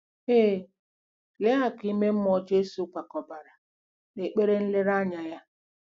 Ee, lee akụ̀ ime mmụọ Jesu kwakobara n'ekpere nlereanya ya!